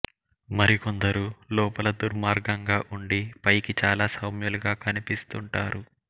మరి కొందరు లోపల దుర్మార్గంగా ఉండి పైకి చాలా సౌమ్యులుగా కనిపిస్తుంటారు